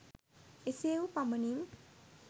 එසේ වූ පමණින්